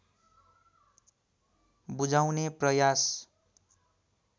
बुझाउने प्रयास